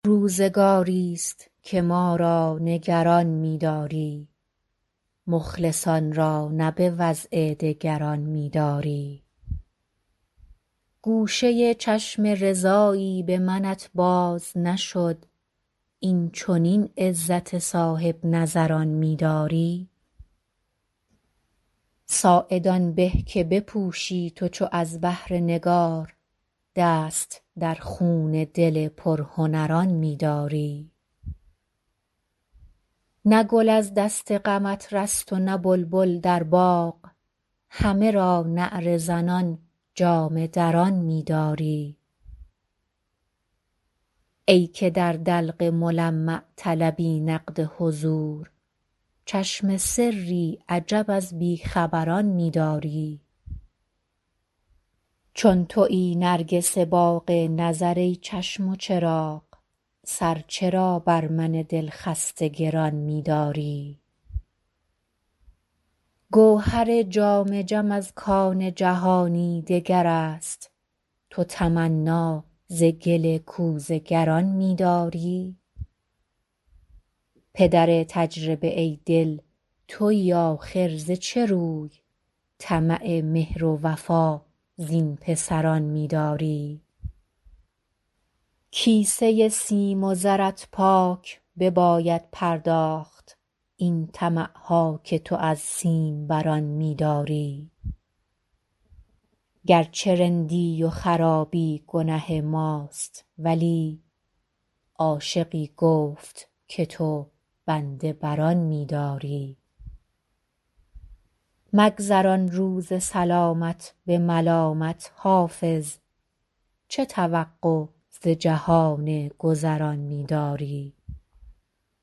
روزگاری ست که ما را نگران می داری مخلصان را نه به وضع دگران می داری گوشه چشم رضایی به منت باز نشد این چنین عزت صاحب نظران می داری ساعد آن به که بپوشی تو چو از بهر نگار دست در خون دل پرهنران می داری نه گل از دست غمت رست و نه بلبل در باغ همه را نعره زنان جامه دران می داری ای که در دلق ملمع طلبی نقد حضور چشم سری عجب از بی خبران می داری چون تویی نرگس باغ نظر ای چشم و چراغ سر چرا بر من دل خسته گران می داری گوهر جام جم از کان جهانی دگر است تو تمنا ز گل کوزه گران می داری پدر تجربه ای دل تویی آخر ز چه روی طمع مهر و وفا زین پسران می داری کیسه سیم و زرت پاک بباید پرداخت این طمع ها که تو از سیم بران می داری گر چه رندی و خرابی گنه ماست ولی عاشقی گفت که تو بنده بر آن می داری مگذران روز سلامت به ملامت حافظ چه توقع ز جهان گذران می داری